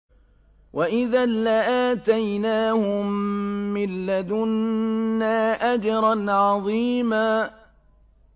وَإِذًا لَّآتَيْنَاهُم مِّن لَّدُنَّا أَجْرًا عَظِيمًا